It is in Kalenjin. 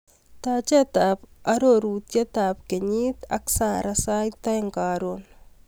Tachetap arorutab kenyit ak Sarah sait aeng karon.